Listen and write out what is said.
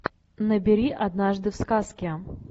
набери однажды в сказке